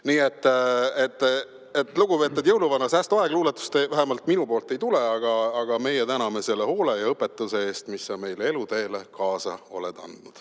Nii et, lugupeetud jõuluvana, säästuaeg, luuletust vähemalt minu poolt ei tule, aga meie täname selle hoole ja õpetuse eest, mis sa meile eluteele kaasa oled andnud.